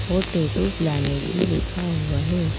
और tattoo planet भी लिखा हुआ है।